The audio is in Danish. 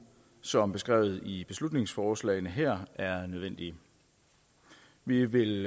som beskrevet i beslutningsforslagene her er nødvendigt vi vil